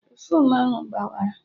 Pefuum ahụ gbawara